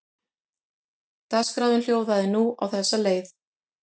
Dagskráin hljóðaði nú á þessa leið